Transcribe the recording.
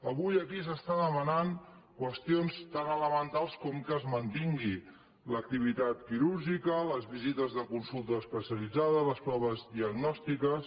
avui aquí s’estan demanant qüestions tan elementals com que es mantingui l’activitat quirúrgica les visites de consulta especialitzada les proves diagnòstiques